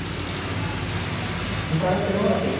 তাৰ আগত শ্বিলংত আছিল